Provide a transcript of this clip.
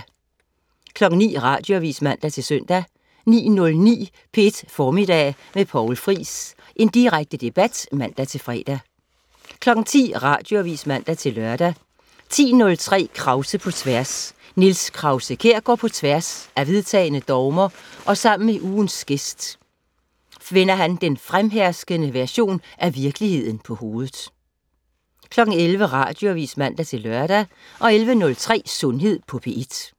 09.00 Radioavis (man-søn) 09.09 P1 Formiddag med Poul Friis. Direkte debat (man-fre) 10.00 Radioavis (man-lør) 10.03 Krause på Tværs. Niels Krause-Kjær går på tværs af vedtagne dogmer, og sammen med ugens gæst vender han den fremherskende version af virkeligheden på hovedet 11.00 Radioavis (man-lør) 11.03 Sundhed på P1